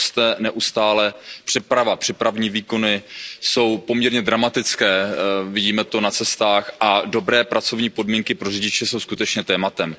Přeprava neustále roste, přepravní výkony jsou poměrně dramatické, vidíme to na cestách a dobré pracovní podmínky pro řidiče jsou skutečně tématem.